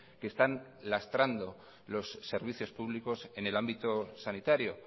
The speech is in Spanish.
que están lastrando los servicios públicos en el ámbito sanitario